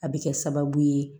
A bɛ kɛ sababu ye